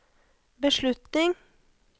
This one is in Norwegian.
beslutning